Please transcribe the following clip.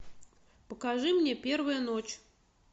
покажи мне первая ночь